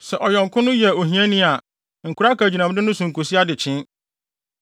Sɛ ɔyɔnko no yɛ ohiani a, nkora akagyinamde no nkosi adekyee.